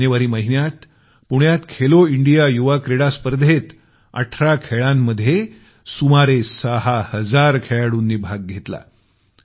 जानेवारी महिन्यात पुण्यात खेलो इंडिया युवा क्रीडा स्पर्धेत 18 खेळांमध्ये सुमारे 6000 खेळाडूंनी भाग घेतला